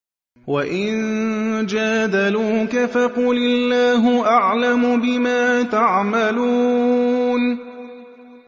وَإِن جَادَلُوكَ فَقُلِ اللَّهُ أَعْلَمُ بِمَا تَعْمَلُونَ